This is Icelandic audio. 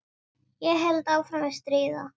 Ég held áfram að stríða.